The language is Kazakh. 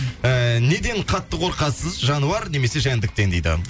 ііі неден қатты қорқасыз жануар немесе жәндіктен дейді